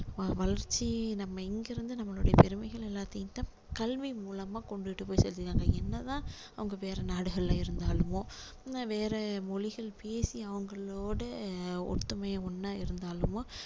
வ~வளர்ச்சி நம்ம இங்க இருந்து நம்மளுடைய பெருமைகள் எல்லாதையும் இந்த கல்வி மூலமா கொண்டுட்டு போய் சேர்த்து இருக்காங்க என்ன தான் அவங்க வேற நாடுகள்ல இருந்தாலுமோ உம் வேற மொழிகள் பேசி அவங்களோட ஒத்துமையா ஒண்ணா இருந்தாலுமோ